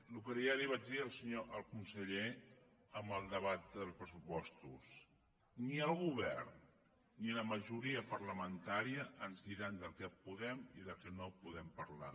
el que ja vaig dir al conseller en el debat dels pressupostos ni el govern ni la majoria parlamentària ens diran del que podem i del que no podem parlar